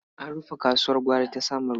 An rufe kasuwar gwari ta Samaru.